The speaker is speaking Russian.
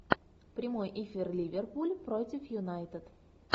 прямой эфир ливерпуль против юнайтед